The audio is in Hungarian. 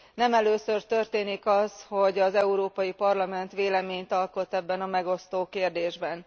Nem először történik az, hogy az Európai Parlament véleményt alkot ebben a megosztó kérdésben.